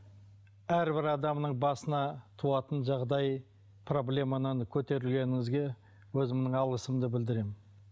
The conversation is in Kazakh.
әрбір адамның басына туатын жағдай проблеманы көтергеніңізге өзімнің алғысымды білдіремін